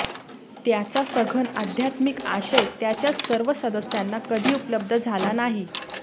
त्याचा सघन आध्यात्मिक आशय त्याच्याच सर्व सदस्यांना कधी उपलब्ध झाला नाही